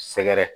Sɛgɛrɛ